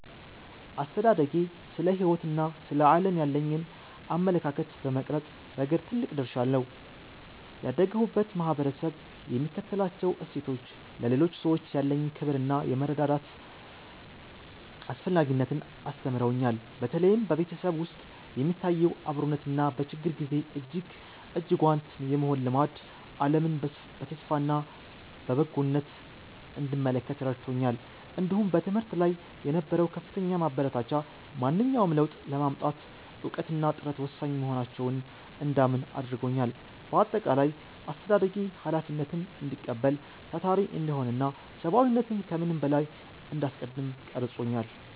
አስተዳደጌ ስለ ሕይወትና ስለ ዓለም ያለኝን አመለካከት በመቅረጽ ረገድ ትልቅ ድርሻ አለው። ያደግሁበት ማኅበረሰብ የሚከተላቸው እሴቶች፣ ለሌሎች ሰዎች ያለኝን ክብርና የመረዳዳት አስፈላጊነትን አስተምረውኛል። በተለይም በቤተሰብ ውስጥ የሚታየው አብሮነትና በችግር ጊዜ እጅና ጓንት የመሆን ልማድ፣ ዓለምን በተስፋና በበጎነት እንድመለከት ረድቶኛል። እንዲሁም በትምህርት ላይ የነበረው ከፍተኛ ማበረታቻ፣ ማንኛውንም ለውጥ ለማምጣት እውቀትና ጥረት ወሳኝ መሆናቸውን እንዳምን አድርጎኛል። በአጠቃላይ፣ አስተዳደጌ ኃላፊነትን እንድቀበል፣ ታታሪ እንድሆንና ሰብዓዊነትን ከምንም በላይ እንዳስቀድም ቀርጾኛል።